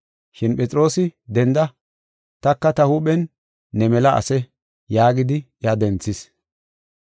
Shin Phexroosi, “Denda, taka ta huuphen ne mela ase” yaagidi iya denthis.